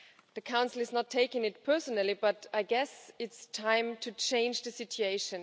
The Council is not taking it personally, but I guess it is time to change the situation.